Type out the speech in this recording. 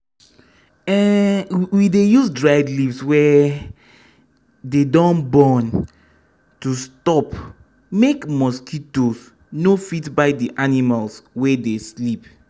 um we dey use dried leaves wey um dey don burn to stop make mosquitoes no fit bite d animals wey dey sleep.